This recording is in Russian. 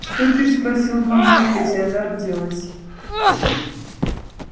что переспросила мамулька и вся зарделась